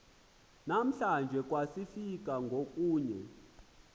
namhlanje kwasika ngokunye